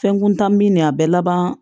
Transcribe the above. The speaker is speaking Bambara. Fɛn kuntan min de a bɛɛ laban